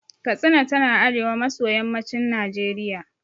Katsina tana arewa maso yammacin Najeriya.